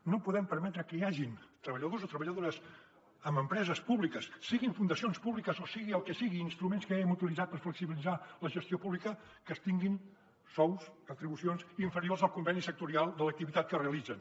no podem permetre que hi hagin treballadors o treballadores en empreses públiques siguin fundacions públiques o sigui el que sigui instruments que haguem utilitzat per flexibilitzar la gestió pública que tinguin sous retribucions inferiors al conveni sectorial de l’activitat que realitzen